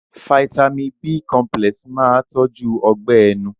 Fáítámì b cọmpílẹ̀s máa tọ́jú Ọgbẹ́ ẹnu